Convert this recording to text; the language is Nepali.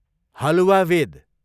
हलुवावेद